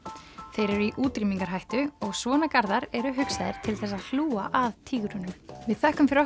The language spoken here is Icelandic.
þeir eru í útrýmingarhættu og svona eru hugsaðir til þess að hlúa að tígrunum við þökkum fyrir